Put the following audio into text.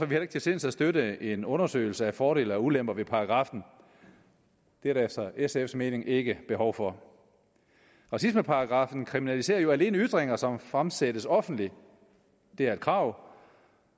heller ikke til sinds at støtte en undersøgelse af fordele og ulemper ved paragraffen det er der efter sfs mening ikke behov for racismeparagraffen kriminaliserer jo alene ytringer som fremsættes offentligt det er et krav